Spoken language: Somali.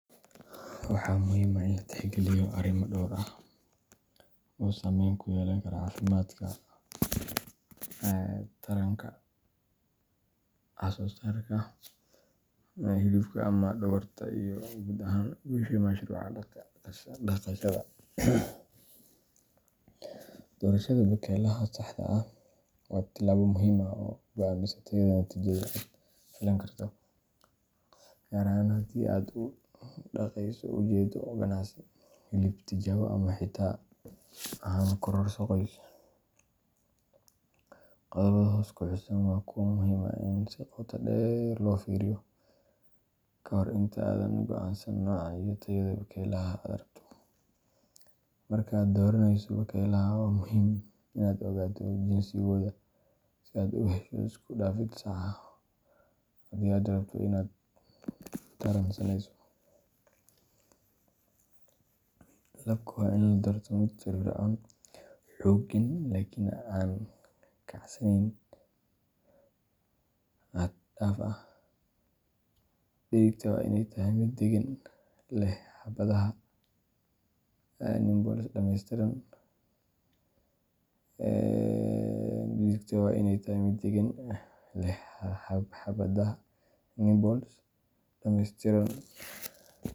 Waxaa muhiim ah in la tixgeliyo arrimo dhowr ah oo saamayn ku yeelan kara caafimaadka, taranka, wax-soo-saarka hilibka ama dhogorta, iyo guud ahaan guusha mashruuca dhaqashada. Doorashada bakaylaha saxda ah waa tallaabo muhiim ah oo go’aamisa tayada natiijada aad filan karto, gaar ahaan haddii aad u dhaqayso ujeeddo ganacsi, hilib, tijaabo, ama xitaa ahaan kororso qoys. Qodobbada hoos ku xusan waa kuwo muhiim ah in si qoto dheer loo fiiriyo ka hor inta aadan go’aansan nooca iyo tayada bakaylaha aad rabto. Marka aad dooranayso bakaylaha, waa muhiim inaad ogaato jinsigooda si aad u hesho isku-dhafid sax ah haddii aad rabto inaad taran sameyso. Labka waa in la doortaa mid firfircoon, xooggan, laakiin aan kacsaneyn xad-dhaaf ah. Dhedigta waa in ay tahay mid deggan, leh xabadaha nipples dhammeystiran.